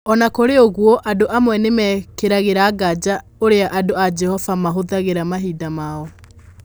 O na kũrĩ ũguo, andũ amwe nĩ mekĩragĩra nganja ũrĩa andũ a Jehova mahũthagĩra mahinda mao.